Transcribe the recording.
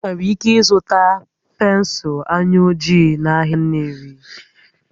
Ị nwere ike ịzụta pensụl anya ojii n'ahịa Nnewi